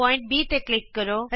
ਬਿੰਦੂ B ਤੇ click ਕਰੋ